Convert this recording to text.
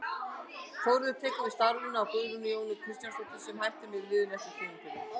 Þórður tekur við starfinu af Guðrúnu Jónu Kristjánsdóttur sem hætti með liðið eftir tímabilið.